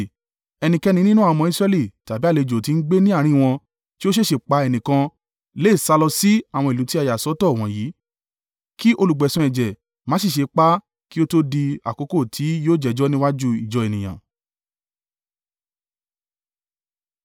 Ẹnikẹ́ni nínú àwọn ọmọ Israẹli tàbí àlejò tí ń gbé ní àárín wọn tí ó ṣèèṣì pa ẹnìkan lè sálọ sí àwọn ìlú tí a yà sọ́tọ̀ wọ̀nyí, kí olùgbẹ̀san ẹ̀jẹ̀ má sì ṣe pa á kí ó to di àkókò tí yóò jẹ́jọ́ níwájú ìjọ ènìyàn.